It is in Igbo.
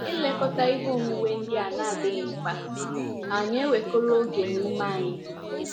Ilekọta ihe onwunwe ndị na - adịghị mkpa hà na - ewekọrọ oge na ume anyị?